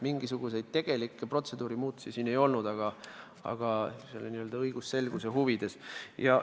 Mingisuguseid tegelikke protseduurimuutusi siin ei olnud, seda tehti n-ö õigusselguse huvides.